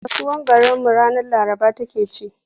Kasuwar garinmu ranar Laraba take ci.